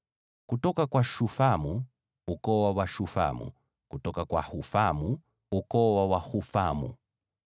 kutoka kwa Shufamu, ukoo wa Washufamu; kutoka kwa Hufamu, ukoo wa Wahufamu.